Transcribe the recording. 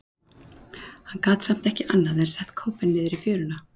Hann gat samt ekki annað en sett kópinn niður í fjöruna.